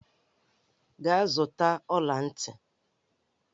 Gaa zụta ọla ntị!